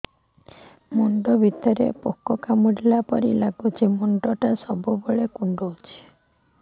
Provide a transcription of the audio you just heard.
ମୁଣ୍ଡ ଭିତରେ ପୁକ କାମୁଡ଼ିଲା ପରି ଲାଗୁଛି ମୁଣ୍ଡ ଟା ସବୁବେଳେ କୁଣ୍ଡୁଚି